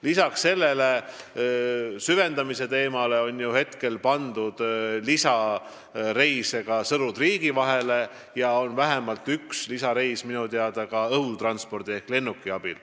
Kui nüüd kõnealune süvendamise teema kõrvale jätta, siis on ju praegu pandud lisareise ka Sõru–Triigi vahele, vähemalt üks lisareis on minu teada ka õhusõiduki ehk lennukiga.